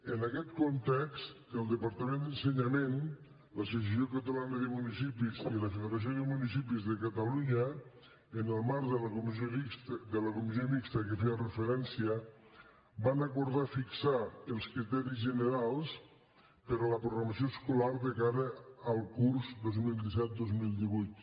en aquest context el departament d’ensenyament l’associació catalana de municipis i la federació de municipis de catalunya en el marc de la comissió mixta a què feia referència van acordar fixar els criteris generals per a la programació escolar de cara al curs dos mil disset dos mil divuit